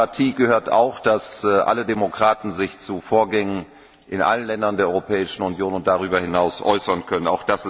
Zur Demokratie gehört auch, dass sich alle Demokraten zu Vorgängen in allen Ländern der Europäischen Union und darüber hinaus äußern können.